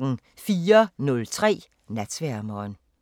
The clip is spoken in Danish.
04:03: Natsværmeren